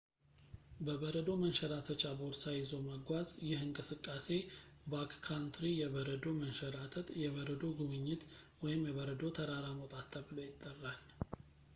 በበረዶ መንሸራተቻ ቦርሳ ይዞ መጓዝ ይህ እንቅስቃሴ ባክካንትሪ የበረዶ መንሸራተት የበረዶ ጉብኝት ወይም የበረዶ ተራራ መውጣት ተብሎ ይጠራል